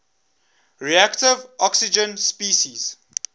reactive oxygen species